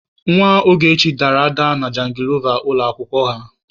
Nwa Ogechi dara ada na jangilova ụlọ akwụkwọ ha.